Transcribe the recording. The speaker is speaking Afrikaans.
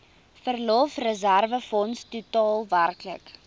verlofreserwefonds totaal werklik